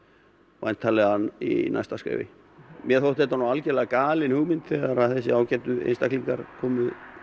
væntanlega í næsta skrefi mér þótti það nú algjörlega galin hugmynd þegar að þessir ágætu einstaklingar komu